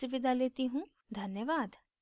धन्यवाद